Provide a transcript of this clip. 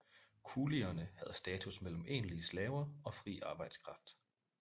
Kulierne havde status mellem egentlige slaver og fri arbejdskraft